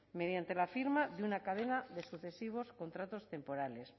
mediante la firma de una cadena de sucesivos contratos temporales